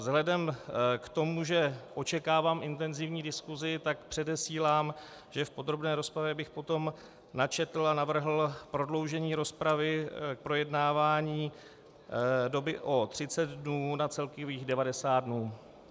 Vzhledem k tomu, že očekávám intenzivní diskusi, tak předesílám, že v podrobné rozpravě bych potom načetl a navrhl prodloužení rozpravy k projednávání doby o 30 dnů na celkových 90 dnů.